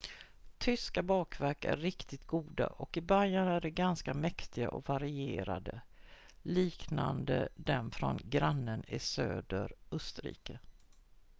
tyska bakverk är riktigt goda och i bayern är de ganska mäktiga och varierade liknande dem från grannen i söder österrike